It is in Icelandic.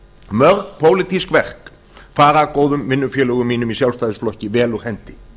mörg pólitísk verk fara góðum vinnufélögum mínum í sjálfstæðisflokki vel úr hendi